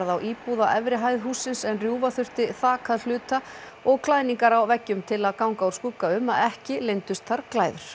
á íbúð á efri hæð hússins en rjúfa þurfti þak að hluta og klæðningar á veggjum til að ganga úr skugga um að ekki leyndust þar glæður